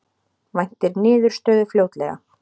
Væntir niðurstöðu fljótlega